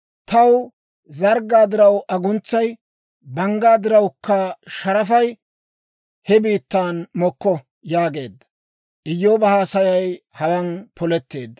taw zarggaa diraw aguntsay, banggaa dirawukka sharafay he biittan mokko» yaageedda. Iyyooba haasayay hawaan poletteedda.